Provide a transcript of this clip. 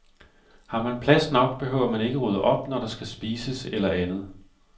Har man plads nok, behøver man ikke rydde op, når der skal spises eller andet.